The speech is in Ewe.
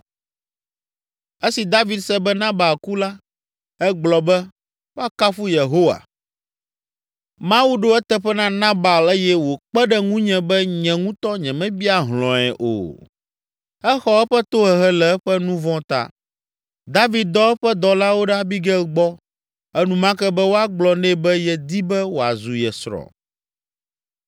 Esi David se be Nabal ku la, egblɔ be, “Woakafu Yehowa! Mawu ɖo eteƒe na Nabal eye wòkpe ɖe ŋunye be nye ŋutɔ nyemebia hlɔ̃e o. Exɔ eƒe tohehe le eƒe nu vɔ̃ ta!” David dɔ eƒe dɔlawo ɖe Abigail gbɔ enumake be woagblɔ nɛ be yedi be wòazu ye srɔ̃.